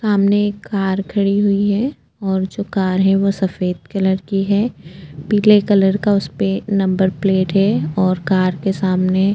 सामने कार खड़ी हुई है और जो कर है वह सफेद कलर की है पीले कलर का उसे पर नंबर प्लेट है और कर के सामने --